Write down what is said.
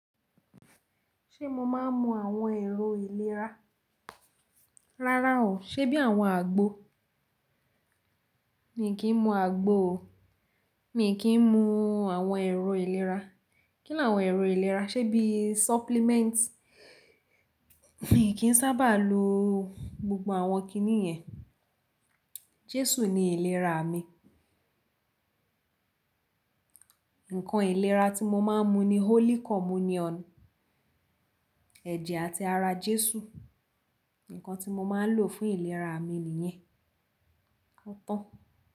Ṣé mo máa ń mu àwọn èrò ìlera? Rárá o. Ṣé bí àwọn àgbo? Mi kì n mu àgbo o. Mi kì í mu àwọn èrò ìlera. Kí ni àwọn èrò ìlera? Ṣé bí supplements? Mi kì í sábà lo gbogbo àwọn kiní yẹn. Jésù ni ìlera mi. Nǹkan ìlera tí mo máa ń mu ni holy communion. Ẹ̀jẹ̀ àti ara Jésù. Nǹkan tí mo máa ń lò fún ìlera mi nìyẹn. Ó tàn.